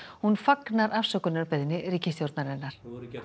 hún fagnar afsökunarbeiðni ríkisstjórnarinnar